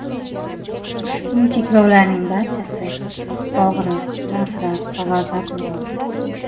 Ushbu cheklovlarning barchasi og‘riq, nafrat va g‘azab uyg‘otadi.